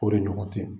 O de ɲɔgɔn tɛ